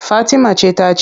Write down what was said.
Fatima ce ta ci.